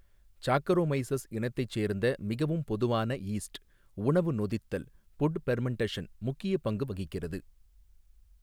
Saccharomyces இனத்தைச் சேர்ந்த மிகவும் பொதுவான ஈஸ்ட் உணவு நொதித்தல் புட் பெர்மெண்டஷன் முக்கிய பங்கு வகிக்கிறது.